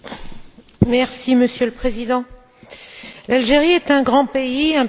Monsieur le Président, l'Algérie est un grand pays, un pays stratégique.